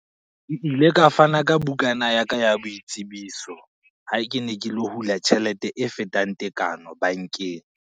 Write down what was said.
Ke ile ka fana ka bukana ya ka, ya boitsebiso ha ke ne ke lo hula tjhelete e fetang tekano bankeng.